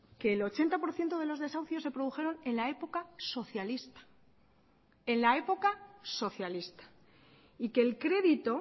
que el ochenta por ciento de los desahucios se produjeron en la época socialista en la época socialista y que el crédito